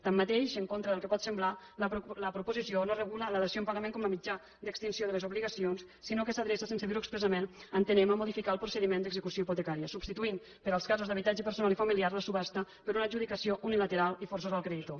tanmateix en contra del que pot semblar la proposició no regula la dació en pagament com a mitjà d’extinció de les obligacions sinó que s’adreça sense dir ho expressament entenem a modificar el procediment d’execució hipotecària i substitueix per als casos d’habitatge personal i familiar la subhasta per una adjudicació unilateral i forçosa al creditor